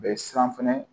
U bɛ siran fɛnɛ